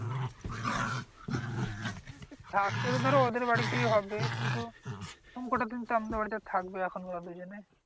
থাকতে তো ধর ওদের বাড়িতেই হবে। কিন্তু, আমাদের বাড়িতে থাকবে ওরা দুজনে।